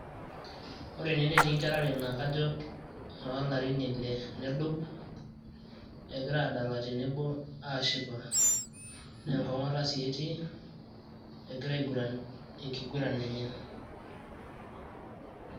Ore ene netii nkera are naa kajo noolarin ile nedou, egira aadala tenebo aashipa naa enkong'ata sii etii, egira aiguran enkiguran enye.